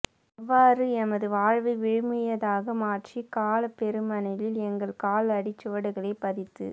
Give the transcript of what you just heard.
எவ்வாறு எமது வாழ்வை விழுமியதாக மாற்றி காலப் பெருமணிலில் எங்கள் கால் அடிச் சுவடுகளைப் பதித்து